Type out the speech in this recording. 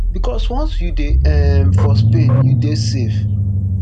becos once you dey um for spain you dey safe